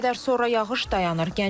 Bir qədər sonra yağış dayanır.